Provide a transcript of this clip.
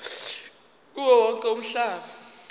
kuwo wonke umhlaba